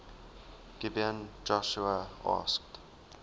gibeon joshua asked